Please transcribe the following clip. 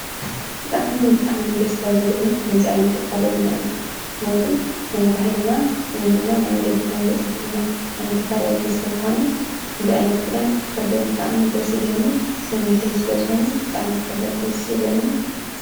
ብጣዕምን ብጣዕምን ደስ ካብ ዘብለኒ ከምዚ ዓይነት ኣከዳድና እዩ፡፡ ምኽንያቱ ናይ ባህልና ወይ ድማናይ ወለድና ዘፅንሑልና ዓይነት ኣከዳድና ስለዝኾነ ከምዚ ዓይነት ክዳን ክኽደን ብጣዕሚ ደስ ይብለኒ፡፡ ትምኒተይ ስለዝኾነ ብጣዕሚ ክኽደን ደስ ይብለኒ፡፡